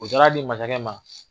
O taara di masakɛ ma.